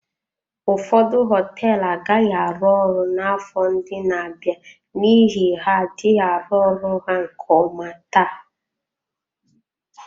Ụfọdụ họteelụ agaghị arụ ọrụ n'afọ ndị na-abịa n'ihi ha adịghị arụ ọrụ ha nke ọma taa.